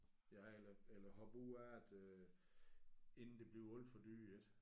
Ja eller eller hoppe ud af det øh inden det bliver alt for dyrt ik